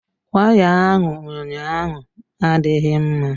Waya ahụ ụnyaahụ adịghị mma.